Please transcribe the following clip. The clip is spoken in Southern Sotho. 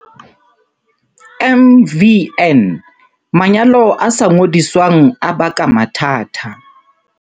MVN, Manyalo a sa ngodiswang a baka mathata.